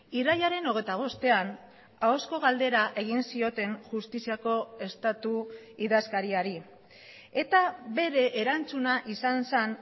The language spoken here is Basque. irailaren hogeita bostean ahozko galdera egin zioten justiziako estatu idazkariari eta bere erantzuna izan zen